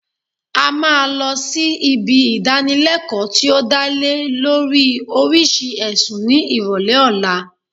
A máa lọ sí ibi ìdánilẹkọ́ tí ó dá lé lórii oríṣi ẹ̀sùn ní ìrọ̀lẹ́ ọ̀la